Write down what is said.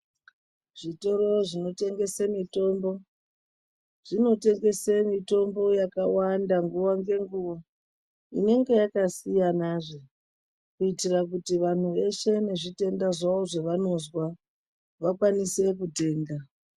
zvitoro zvinotengese mitombo zvinotengese mitombo yakawanda nguwa ngenguwa inenge yakasiyana zve kuitira kuti vanhu veshe nezvitenda zvawo zvavanozwa vakwanise kutenga.